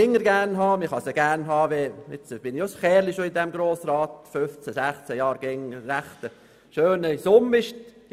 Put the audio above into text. Ich gehöre dem Grossen Rat mit 15 oder 16 Jahren schon eine Weile an, in dieser Zeit hat der Kanton immer eine schöne Summe erhalten.